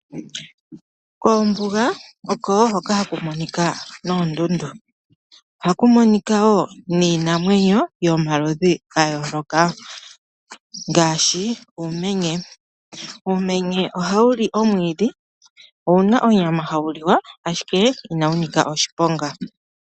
Koombuga oko wo hoka haku monika noondundu ohaku monika wo niinamwenyo yomaludhi ga yooloka ngaashi uumenye. Uumenye ohawu li omwiidhi, owuna onyama hawu liwa ashike inawu nika oshiponga.